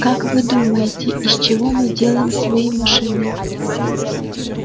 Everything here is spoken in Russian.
как вы думаете из чего мы делаем свои машины